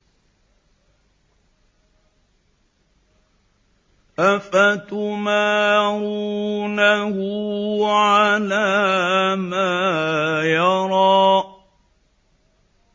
أَفَتُمَارُونَهُ عَلَىٰ مَا يَرَىٰ